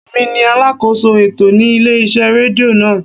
Emi ni alákóso ètò ní ilé iṣẹ́ rédíò náà.